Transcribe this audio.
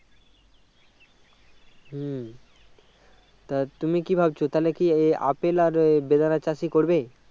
হম তা তুমি কি ভাবছো তাহলে কি এই আপেল আর বেদেনার চাষই করবে